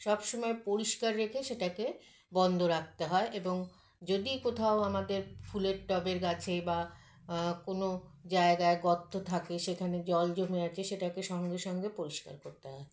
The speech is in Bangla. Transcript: সবসময় পরিস্কার রেখে সেটাকে বন্ধ রাখতে হয় এবং যদি কোথাও আমাদের ফুলের tub -এর গাছে বা আ কোনো জায়গায় গর্ত থাকে সেখানে জল জমে আছে সেটাকে সঙ্গে সঙ্গে পরিস্কার করতে হয়